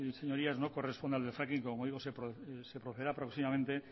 hoy no corresponde al del fracking como digo se procederá próximamente